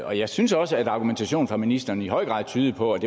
og jeg synes også at argumentationen fra ministeren i høj grad tydede på at